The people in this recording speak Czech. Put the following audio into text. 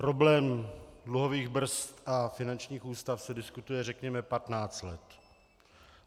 Problém dluhových brzd a finančních ústav se diskutuje, řekněme, 15 let.